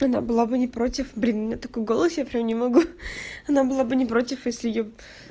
она была бы не против блин меня такой голос я прямо не могу она была бы не против если её